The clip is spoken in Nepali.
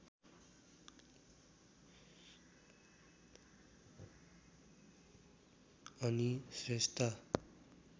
अनि स्रेस्ता